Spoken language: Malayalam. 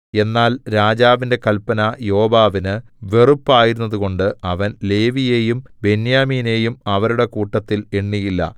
എന്നാൽ രാജാവിന്റെ കല്പന യോവാബിന് വെറുപ്പായിരുന്നതുകൊണ്ടു അവൻ ലേവിയെയും ബെന്യാമീനെയും അവരുടെ കൂട്ടത്തിൽ എണ്ണിയില്ല